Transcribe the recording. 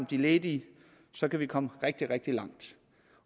de ledige så kan vi komme rigtig rigtig langt